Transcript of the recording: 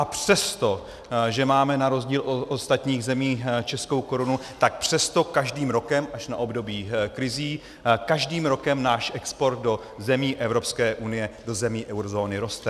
A přesto, že máme na rozdíl od ostatních zemí českou korunu, tak přesto každý rokem, až na období krizí, každým rokem náš export do zemí Evropské unie, do zemí eurozóny roste.